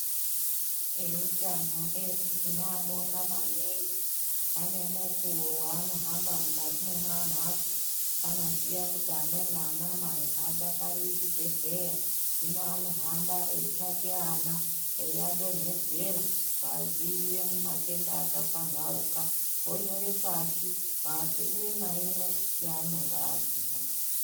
Eutano edu tinobonga maningi ane mukuwo waanohamba mukati mwemamhatso anoziya kuti amweni anamai hadakariri chibhedhlera hino anohamba eyitsvake ana eyiadinhedzera kudzivirira kumatenda akapambauka anyore pashi mbatso imwe naimwe yaanenge aguma.